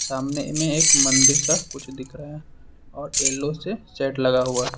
सामने में एक मंदिर सा कुछ दिख रहा है और येलो से सेट लगा हुआ --